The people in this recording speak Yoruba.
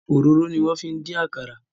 Òróró ni wọ́n fi ń dín àkàrà.